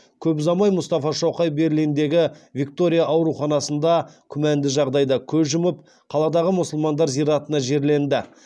көп ұзамай мұстафа шоқай берлиндегі виктория ауруханасында күмәнді жағдайда көз жұмып қаладағы мұсылмандар зиратына жерленді